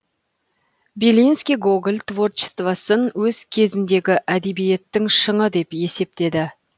белинский гоголь творчествосын өз кезіндегі әдебиеттің шыңы деп есептеді